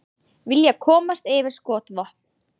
Vilja komast yfir skotvopn